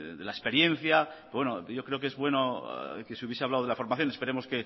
de la experiencia yo creo que es bueno que se hubiese hablado de la formación esperemos